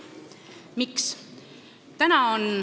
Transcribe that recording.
Miks?